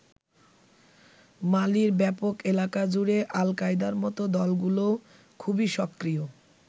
মালির ব্যাপক এলাকা জুড়ে আল কায়দার মত দলগুলোও খুবই সক্রিয়।